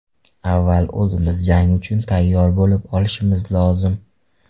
Avval o‘zimiz jang uchun tayyor bo‘lib olishimiz lozim.